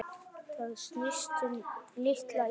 Það snýst um litla Ísland.